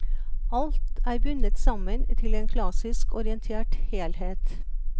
Alt er bundet sammen til en klassisk orientert helhet.